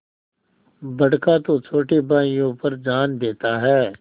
बड़का तो छोटे भाइयों पर जान देता हैं